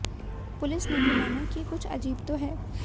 police ने भी माना कि कुछ अजीब तो है